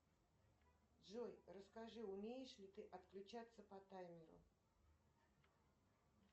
джой расскажи умеешь ли ты отключаться по таймеру